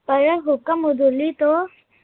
ਪਰ ਹੁਕਮ ਹਦੂਲੀ ਤੋਂ